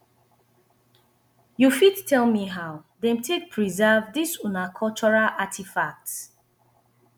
you fit tell me how them take preserve this una cultural artifacts